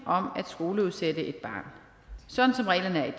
om at skoleudsætte et barn sådan som reglerne